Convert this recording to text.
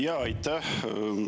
Jaa, aitäh!